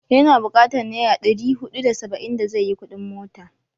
Ya na bukatar naira ɗri huɗu da saba'in da zai yi kuɗin mota.